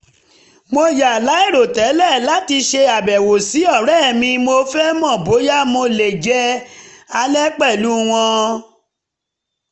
mo yà láìròtẹ́lẹ̀ láti ṣe àbẹ̀wò sí ọ̀rẹ́ mi mo fẹ́ mọ bóyá mo lè jẹ alẹ́ pẹ̀lú wọn